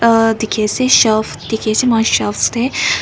aa dikhi ase shelf dikhi se moi lah shelf teh.